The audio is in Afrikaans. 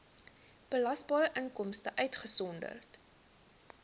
belasbare inkomste uitgesonderd